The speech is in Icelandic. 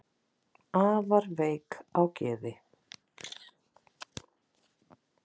afar veik á geði